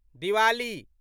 Diwali